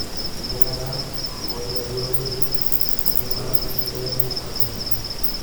Empikata oo neeti oloip, enking'urata enkibelekenyata oloing'ang'e.